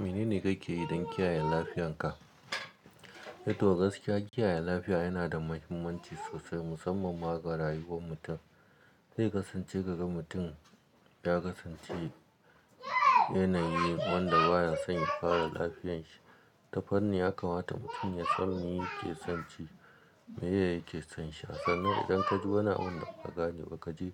Menene kakeyi don kiyaye lafiyanka? Eh to gaskiya, kiyaye lafiya yana da mahimmanci sosai musamman ma ga rayuwar mutum. Zai kasance kaga mutum ya kasance yanayi wanda baya son ya fara lafiyanshi. Ta fanni ya kamata mutum ya san me yake sonci, me yake sonsha. Sannan idan ka ji wani abunda baka gane ba ka je